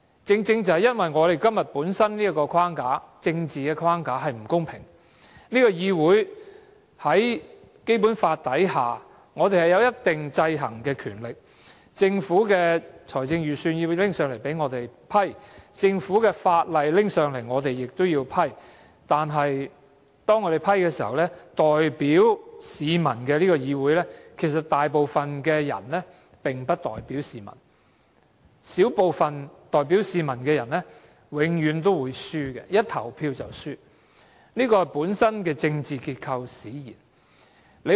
正正今天的政治框架不公平，這個議會在《基本法》下有一定的制衡權力，政府的財政預算要提交給我們審批，政府亦要提交法案給我們審批，但當我們審批時，代表市民的議會其實大部分人並不代表市民，小部分代表市民的人永遠都會輸，一旦投票便輸，這是本身的政治結構使然。